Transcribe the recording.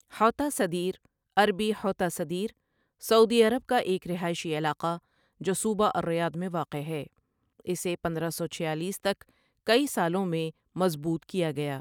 حوطہ سدیر عربی حوطة سدير سعودی عرب کا ایک رہائشی علاقہ جو صوبہ الریاض میں واقع ہے اسے پندرہ سوچھیالیس تک کئی سالوں میں مضبوط کیا گیا۔